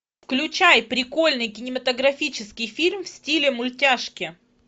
включай прикольный кинематографический фильм в стиле мультяшки